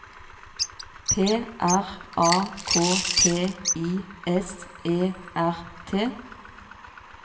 P R A K T I S E R T